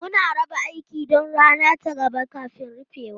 Muna raba aiki don rana ta gaba kafin rufewa.